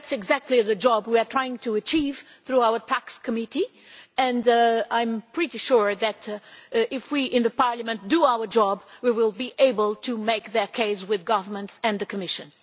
That is exactly the job we are trying to achieve through our tax committee, and I am pretty sure that if we in Parliament do our job we will be able to make that case with governments and the Commission.